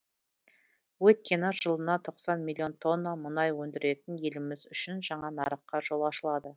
өйткені жылына тоқсан миллион тонна мұнай өндіретін еліміз үшін жаңа нарыққа жол ашылады